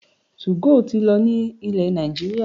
2go ti lọ ní ilẹ̀ Nàìjíríà